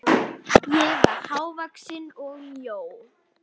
Ég var hávaxin og mjó.